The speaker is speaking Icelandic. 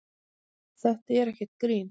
Þetta er ekkert grín.